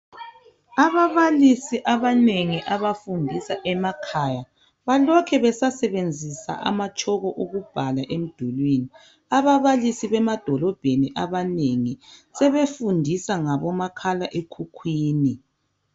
Ababalisi abanengi abafundisa emakhaya balokhu besasebenzisa amatshoko ukubhala emdulwini. Ababalisi bemadolobheni abanengi sebefundisa ngomakhalekhukhwini.